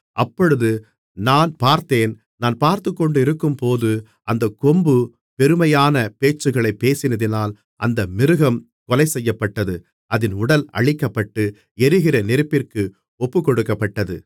அப்பொழுது நான் பார்த்தேன் நான் பார்த்துக்கொண்டிருக்கும்போது அந்தக் கொம்பு பெருமையான பேச்சுகளைப் பேசினதினால் அந்த மிருகம் கொலைசெய்யப்பட்டது அதின் உடல் அழிக்கப்பட்டு எரிகிற நெருப்பிற்கு ஒப்புக்கொடுக்கப்பட்டது